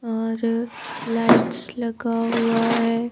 और लाइट्स लगा हुआ है।